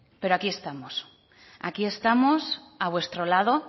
pero aquí estamos aquí estamos a vuestro lado